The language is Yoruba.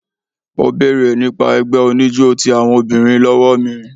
Ó béèrè nípa ẹgbẹ́ oníjó ti àwọn obìnrin lọ́wọ́ mi.